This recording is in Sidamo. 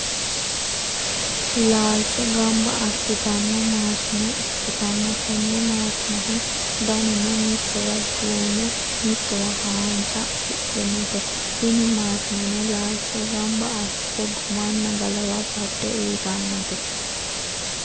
laalcho gamba assitanno maashine ikkitanna, tenne maashinehu danuno mitowa duume mitowa haaanja afidhinote, tini maashineno laalcho gamba assite gumanna galawa badde uyiitannote.